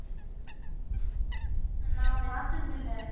நான் பார்த்ததில்லை